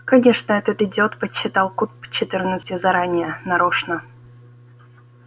конечно этот идиот подсчитал куб четырнадцати заранее нарочно